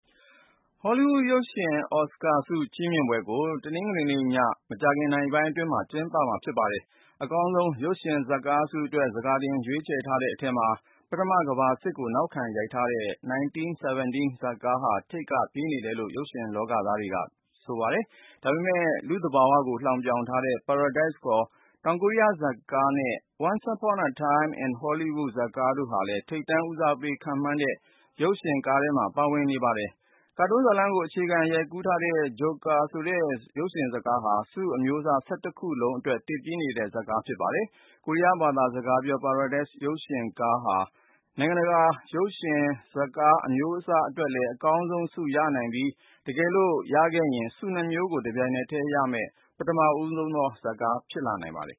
ဟောလိဝုဒ် ရုပ်ရှင်အော်စကာဆု ချီးမြှင့်ပွဲကို တနင်္ဂနွေနေ့ည မကြာခင်နာရီပိုင်းမှာ ကျင်းပမှာဖြစ်ပါတယ်။ အကောင်းဆုံး ရုပ်ရှင်ဇာတ်ကားဆုအတွက် ဆန်ခါတင် ရွေးထားတဲ့အထဲမှာ ပထမကမ္ဘာစစ်ကို နောက်ခံရိုက်ကူးထားတဲ့ 1917 ဇာတ်ကားဟာ ထိပ်တန်းက ပြေးနေတယ်လို့ ရုပ်ရှင်လောကသားတွေက ဆိုကြပါတယ်။ ဒါပေမယ့် လူ့သဘာဝကို လှောင်ပြောင်ထားတဲ့ "Parasite" ခေါ် တောင်ကိုရီးယား ရုပ်ရှင်ကားနဲ့ "Once Upon a Time in Hollywood" ဇာတ်ကားတို့ဟာလည်း ထိပ်တန်းဦးစားပေး ခန့်မှန်းတဲ့ ရုပ်ရှင်ကားထဲမှာ ပါဝင်နေပါတယ်။ ကာတွန်းဇာတ်လမ်းကို အခြေခံ ရိုက်ကူးထားတဲ့ “Joker” ဆိုတဲ့ ရုပ်ရှင်ကားဟာ ဆုအမျိုးအစား ၁၁ ခုလုံးအတွက် တစ်ပြေးနေတဲ့ဇာတ်ကား ဖြစ်ပါတယ်။ ကိုရီးယား ဘာသာစကားပြော "Parasite" ရုပ်ရှင်ကားဟာ နိုင်ငံတကာ ရုပ်ရှင်ဇာတ်ကား အမျိုးအစားအတွက် အကောင်းဆုံးဆု ရရှိနိုင်ပြီး တကယ်လို့ရခဲ့ရင် ဆုနှစ်မျိုးကို တပြိုင်နက်တည်းရရှိတဲ့ ပထမဦးဆုံးကား ဖြစ်လာနိုင်ပါတယ်